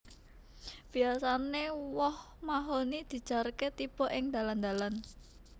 Biyasané woh mahoni dijarké tiba ing dalan dalan